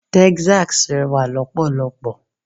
Texas rẹwà lọ́pọ̀lọ́pọ̀.